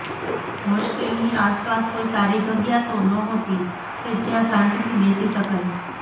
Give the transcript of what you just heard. હોસ્ટેલની આસપાસ કોઈ સારી જગ્યા તો નહોતી કે જ્યાં શાંતિથી બેસી શકાય